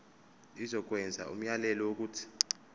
izokwenza umyalelo wokuthi